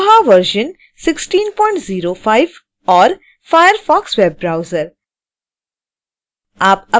koha version 1605 और firefox web browser